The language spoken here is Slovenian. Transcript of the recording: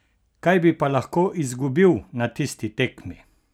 Kaj bi pa lahko izgubil na tisti tekmi?